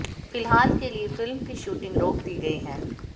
फिलहाल के लिए फिल्म की शूटिंग रोक दी गई है